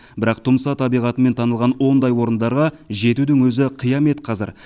бірақ тұмса табиғатымен танылған ондай орындарға жетудің өзі қиямет қазір